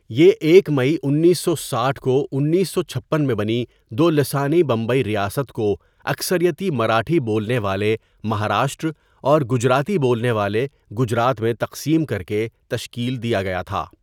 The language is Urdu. یہ ایک مئی انیسو ساٹھ کو انیسو چھپن میں بنی دو لسانی بمبئی ریاست کو اکثریتی مراٹھی بولنے والے مہاراشٹر اور گجراتی بولنے والے گجرات میں تقسیم کرکے تشکیل دیا گیا تھا.